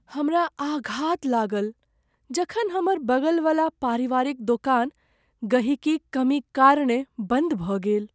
हमरा आघात लागल जखन हमर बगल वाला पारिवारिक दोकान गहिकीक कमीक कारणें बन्द भऽ गेल ।